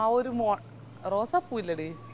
ആ ഒര് മോ rose സാപ്പു ല്ലെടി